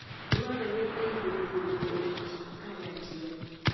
Dwarore ni jopurgo oti kanyachiel.